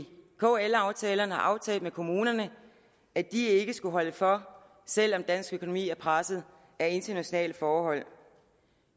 kl aftalerne har aftalt med kommunerne at de ikke skal holde for selv om dansk økonomi er presset af internationale forhold